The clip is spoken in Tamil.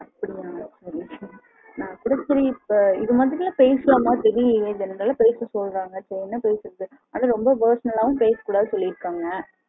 அப்டியா சரி சரி இப்போ இது மாரி எல்லாம் பேசலாமான்னு தெரியல ஆனா பேச சொல்றாங்க அப்புறம் என்ன பேசுறது personal லவும் பேச கூடதுன்னு சொல்லிருக்காங்க.